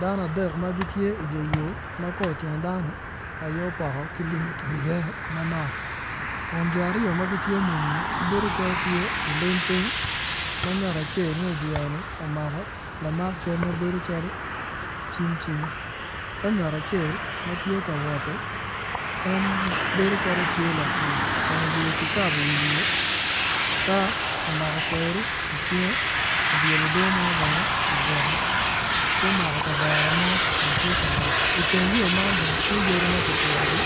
Dano adek ma gitye idyer yo ma kor tyen dano aye opoko ki lum otwi iye manok kun jo aryo ma gitye muni-ni gibedo calo tye olim piny ma ngat acel ma idyere-ni omako lamak cal mabedo calo cim cing ka ngat acel ma tye ka woti en bedo calo tye lapur kun oyeyo ki kabo iwiye ka omako kweri icinge obyelo odoo mo bene i gwokke ki omako ka vere mo kun tye ka wot iteng yo man bene tye yadi ma kipitogi